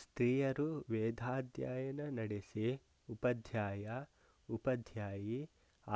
ಸ್ತ್ರೀಯರೂ ವೇದಾಧ್ಯಯನ ನಡೆಸಿ ಉಪಾಧ್ಯಾಯಾ ಉಪಾಧ್ಯಾಯೀ